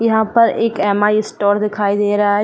यहां पर एक एम.आई स्टोर दिखाई दे रहा है।